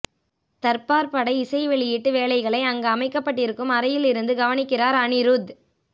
தர்பார் பட இசை வெளியீட்டு வேலைகளை அங்கு அமைக்கப்பட்டிருக்கும் அறையில் இருந்து கவனிக்கிறார் அனிருத்